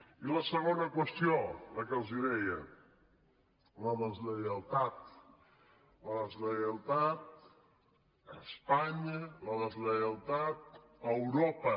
i la segona qüestió la que els deia la deslleialtat la deslleialtat a espanya la deslleialtat a europa